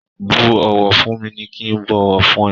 Bú ọ̀wọ̀ fún mi kí ń bọ̀wọ̀ fún ẹ.